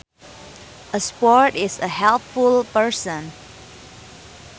A sport is a helpful person